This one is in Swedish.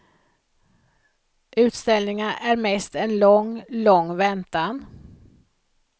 Utställningar är mest en lång, lång väntan.